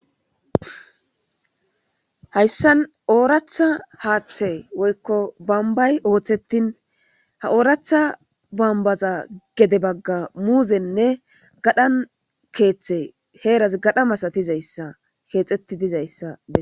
hayssan ooratha haaththe woykko bambay ooththetin ha ooratha bambaza gede bagga muuzenne gadhan keeththe heeras gadha masatizayssa keexetti dizayssa